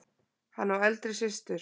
Hann á eldri systur.